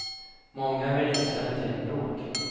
Många vill inte ställa till bråk.